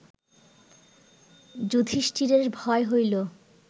যুধিষ্ঠিরের ভয় হইল